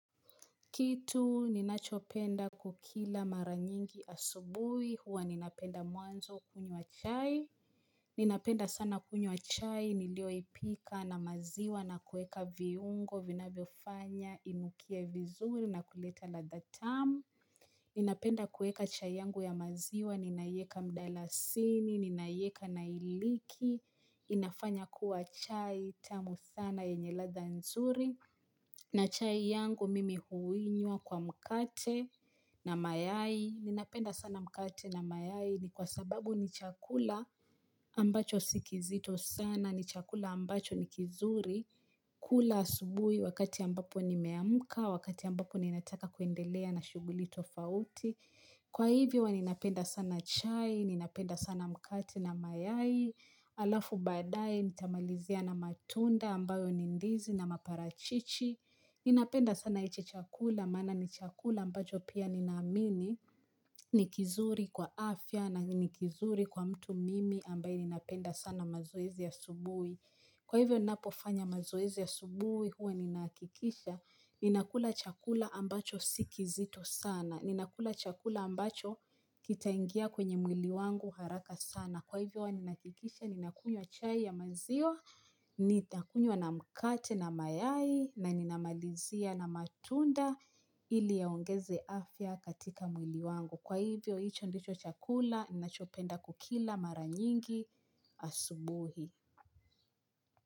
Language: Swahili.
Kitu ninachopenda kukila mara nyingi asubuhi huwa ninapenda mwanzo kunywa chai Ninapenda sana kunywa chai niliyoipika na maziwa na kuweka viungo vinavyofanya inukie vizuri na kuleta ladha tamu. Ninapenda kuweka chai yangu ya maziwa ninaiweka mdalasini, ninaiweka na iliki inafanya kuwa chai tamu sana yenye ladha nzuri na chai yangu mimi huinywa kwa mkate na mayai. Ninapenda sana mkate na mayai ni kwa sababu ni chakula ambacho si kizito sana, ni chakula ambacho ni kizuri kula asubuhi wakati ambapo nimeamka, wakati ambapo ninataka kuendelea na shughuli tofauti. Kwa hivyo huwa ninapenda sana chai, ninapenda sana mkate na mayai halafu baadaye nitamalizia na matunda ambayo ni ndizi na maparachichi Ninapenda sana hiki chakula maana ni chakula ambacho pia ninaamini ni kizuri kwa afya na ni kizuri kwa mtu mimi ambaye ninapenda sana mazoezi ya asubuhi. Kwa hivyo ninapofanya mazoezi ya asubuhi, huwa ninahakikisha ninakula chakula ambacho si kizito sana, ninakula chakula ambacho kitaingia kwenye mwili wangu haraka sana. Kwa hivyo huwa ninahakikisha ninakunywa chai ya maziwa, nitakunya na mkate na mayai na ninamalizia na matunda ili yaongeze afya katika mwili wangu. Kwa hivyo, hicho ndicho chakula ninachopenda kukila mara nyingi asubuhi.